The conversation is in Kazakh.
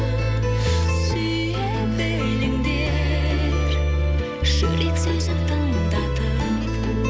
сүйе біліңдер жүрек сөзін тыңдатып